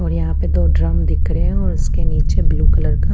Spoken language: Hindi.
और यहाँ पर दो ड्रम दिख रहे है और इसके नीचे ब्लू कलर का--